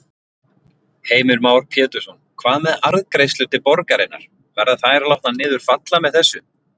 Heimir Már Pétursson: Hvað með arðgreiðslur til borgarinnar, verða þær látnar niður falla með þessu?